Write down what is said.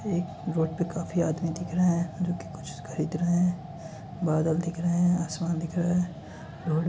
एक रोड पे काफी आदमी दिख रहे है जोकि कुछ खरीद रहे है बादल दिख रहे है आसमान दिख रहे है। रोड --